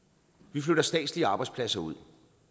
vi flytter statslige arbejdspladser ud